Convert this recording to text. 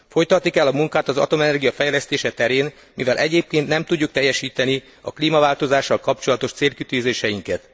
Folytatni kell a munkát az atomenergia fejlesztése terén, mivel egyébként nem tudjuk teljesíteni a klímaváltozással kapcsolatos célkitűzéseinket.